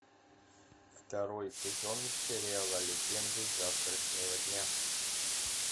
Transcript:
второй сезон сериала легенды завтрашнего дня